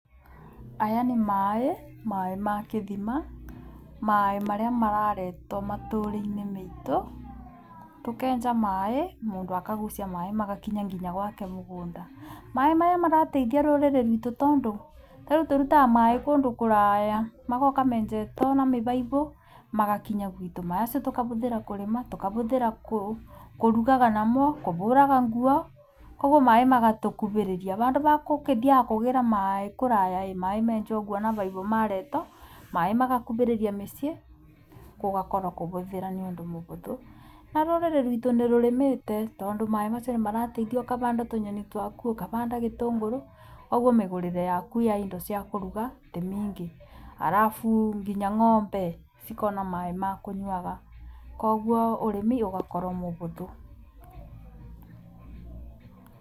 Aya nĩ maĩĩ, maĩĩ ma kĩthima ,maĩĩ marĩa mararetwo matũũre-inĩ metũ tũkenja maĩĩ, mũndũ akagucia maĩĩ magakinya nginya gwake mũgũnda maĩĩ maya marateithia rũrĩrĩ rwitũ tondũ rĩu tũrutaga maĩĩ kũndũ kũraya, magooka menjeto na mĩbaibũ magakinya gwitũ macio tũkavũthĩra kũrĩma tũkavũthĩra kũrũgaga namo, kũbũraga nguo, ũguo maĩĩ magatũkuvĩrĩria vandũ va kũkĩthiaga kũgĩĩra maĩĩ kũraya maĩĩ menjwo ũguo na vaivũ mareto maĩĩ magakuvĩrĩria mĩciĩ, gũgakoro kũbũthĩra niũndũ mũbũthũ na rũrĩrĩ rwitũ nĩ rũrĩmĩte tondũ maĩĩ macio nĩmarateithia ũkavanda tũnyeni twaku ũkavanda gitũngũrũ, ũguo mĩgũrĩre yaku ya indo cia kũruga tĩmĩingĩ alafu nginya ng’ombe ciikona maĩĩ ma kũnyuaga. Koguo ũrĩmi ũgakorwo mũbũthũ.